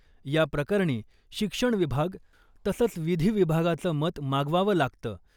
याप्रकरणी शिक्षण विभाग तसंच विधी विभागाचं मत मागवावं लागतं .